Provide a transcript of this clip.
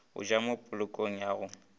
go ja mopolokong ya go